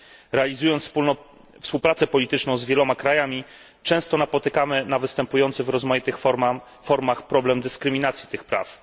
Realizując wspólną współpracę polityczną z wieloma krajami często napotykamy na występujący w rozmaitych formach problem dyskryminacji tych praw.